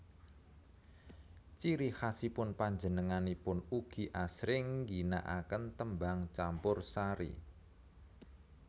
Ciri khasipun panjenenganipun ugi asring ngginaaken tembang campursari